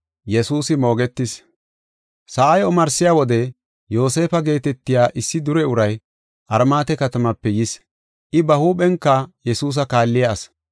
Sa7ay omarsiya wode Yoosefa geetetiya issi dure aday, Armaate katamape yis. I ba huuphenka Yesuusa kaalliya asi.